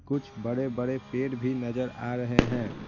कुछ बड़े-बड़े पेड़ भी नजर आ रहे हैं।